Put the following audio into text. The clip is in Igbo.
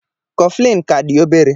Coflin ka dị obere